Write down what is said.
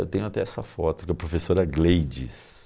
Eu tenho até essa foto com a professora Gleides.